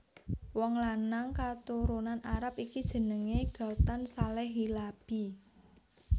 Wong lanang katurunan Arab iki jenengé Ghatan Saleh Hilabi